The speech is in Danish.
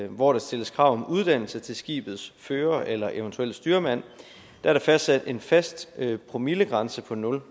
hvor der stilles krav om uddannelse til skibets fører eller eventuelle styrmand er der fastsat en fast promillegrænse på nul